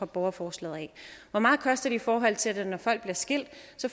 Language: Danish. borgerforslaget hvor meget koster det i forhold til det når folk bliver skilt